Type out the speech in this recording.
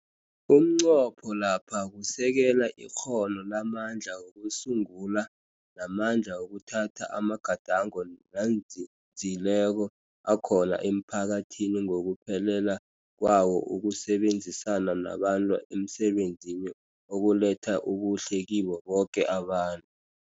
Umnqopho lapha kusekela ikghono lamandla wokusungula, namandla wokuthatha amagadango nanzinzileko akhona emphakathini ngokuphelela kwawo ukusebenzisana nabantu emsebenzini okuletha ubuhle kibo boke abantu.